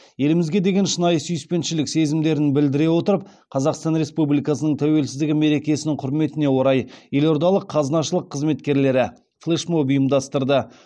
елімізге деген шынайы сүйіспеншілік сезімдерін білдіре отырып қазақстан республикасының тәуелсіздігі мерекесінің құрметіне орай елордалық қазынашылық қызметкерлері флешмоб ұйымдастырды